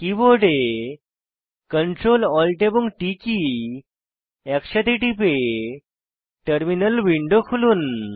কীবোর্ডে Ctrl Alt এবং T key একসাথে টিপে টার্মিনাল উইন্ডো খুলুন